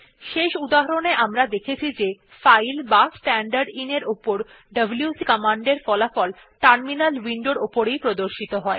শেষ উদাহরণ এ আমরা দেখেছি যে ফাইল বা স্ট্যান্ডারদিন উপর ডব্লিউসি কমান্ডের ফলাফল টার্মিনাল উইন্ডোর এ প্রদর্শিত হয়